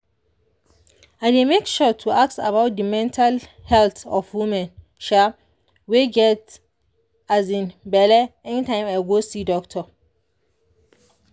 i dey make sure to ask about de mental health of women um wey get um belle anytime i go see doctor